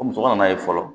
Ko muso ka na ye fɔlɔ